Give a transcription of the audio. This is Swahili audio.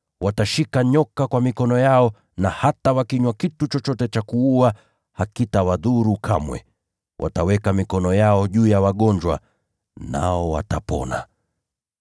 watashika nyoka kwa mikono yao; na hata wakinywa kitu chochote cha kuua, hakitawadhuru kamwe; wataweka mikono yao juu ya wagonjwa, nao watapona.”